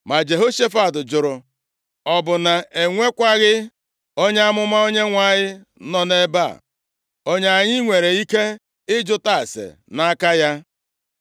Ma Jehoshafat jụrụ, “Ọ bụ na e nwekwaghị onye amụma Onyenwe anyị nọ nʼebe a, onye anyị nwere ike ịjụta ase nʼaka ya?”